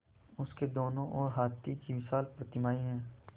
उसके दोनों ओर हाथी की विशाल प्रतिमाएँ हैं